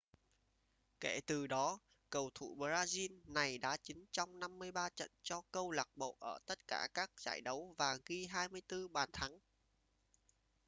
kể từ đó cầu thủ brazil này đá chính trong 53 trận cho câu lạc bộ ở tất cả các giải đấu và ghi 24 bàn thắng